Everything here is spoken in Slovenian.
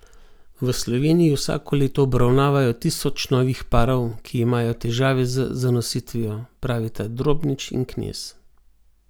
V Sloveniji vsako leto obravnavajo tisoč novih parov, ki imajo težave z zanositvijo, pravita Drobnič in Knez.